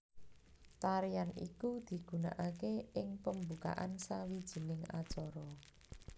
Tarian iku digunakake ing pembukaan sawijining acara